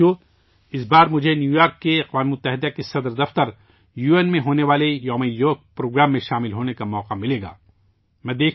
ساتھیو، اس بار مجھے نیویارک کے اقوام متحدہ ہیڈ کوارٹر، یو این میں منعقد ہونے والے یوگا ڈے کے پروگرام میں حصہ لینے کا موقع ملے گا